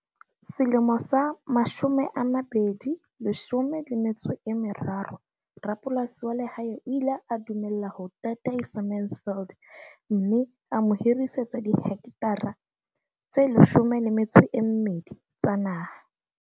Selemo sa 2013, rapolasi wa lehae o ile a dumela ho tataisa Mansfield mme a mo hirisetsa dihekethara tse 12 tsa naha.